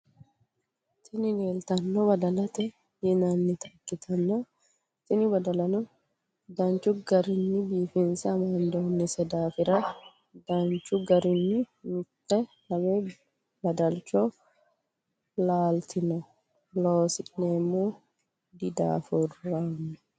Tini lelitano badalate yinanita ikitana tini badalano dnichu garrinina bifinise amandonise daffira danichu garrini mitte lame badalicho lalitinno loosineno didaafuronni.